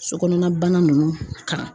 So kɔnɔna bana ninnu kan